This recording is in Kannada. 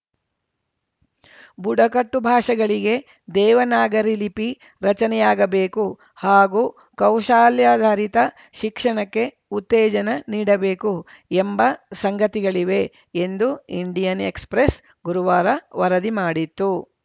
ಬುಡಕಟ್ಟು ಭಾಷೆಗಳಿಗೆ ದೇವನಾಗರಿ ಲಿಪಿ ರಚನೆಯಾಗಬೇಕು ಹಾಗೂ ಕೌಶಲ್ಯಾಧರಿತ ಶಿಕ್ಷಣಕ್ಕೆ ಉತ್ತೇಜನ ನೀಡಬೇಕು ಎಂಬ ಸಂಗತಿಗಳಿವೆ ಎಂದು ಇಂಡಿಯನ್‌ ಎಕ್ಸ್‌ಪ್ರೆಸ್‌ ಗುರುವಾರ ವರದಿ ಮಾಡಿತ್ತು